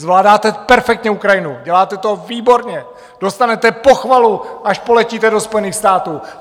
Zvládáte perfektně Ukrajinu, děláte to výborně, dostanete pochvalu, až poletíte do Spojených států.